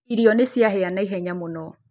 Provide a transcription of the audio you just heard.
Irio nĩcĩahĩa naihenya mũno.